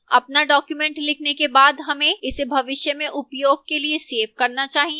अपना document लिखने के बाद हमें इसे भविष्य में उपयोग के लिए सेव करना चाहिए